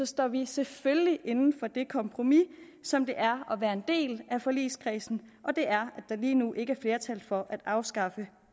står vi selvfølgelig inde for det kompromis som det er at være en del af forligskredsen og det er der lige nu ikke er flertal for at afskaffe